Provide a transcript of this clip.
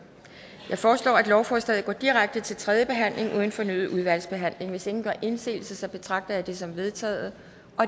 jeg foreslår at lovforslaget går direkte til tredje behandling uden fornyet udvalgsbehandling hvis ingen gør indsigelse betragter jeg det som vedtaget